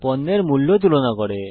পণ্যের মূল্য তুলনা করে